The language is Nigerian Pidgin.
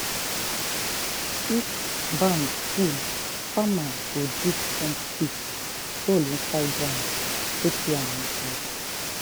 if barn full farmer go dig trench pit ( hole inside ground ) put yam inside.